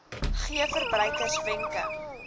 gee verbruikers wenke